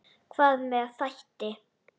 Hvað með þætti?